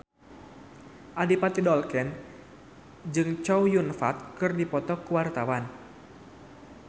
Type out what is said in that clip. Adipati Dolken jeung Chow Yun Fat keur dipoto ku wartawan